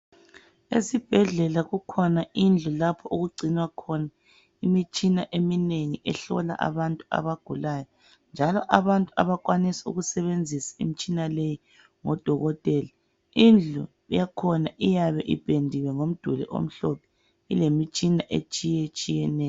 Esibhedlela kukhona indlu lapho okugcinwa khona imitshina eminengi ehlola abantu abagulayo njalo abantu abakwanisa ukusebenzisa imitshina leyi ngodokotela. Indlu yakhona iyabe ipendiwe ngomduli omhlophe etshiyetshiyeneyo.